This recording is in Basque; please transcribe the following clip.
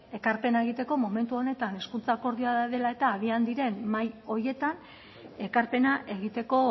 ekarpena egiteko momentu honetan hezkuntza akordioa dela eta agian diren mahai horietan ekarpena egiteko